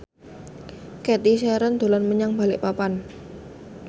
Cathy Sharon dolan menyang Balikpapan